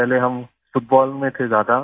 पहले हम फुटबॉल में थे ज्यादा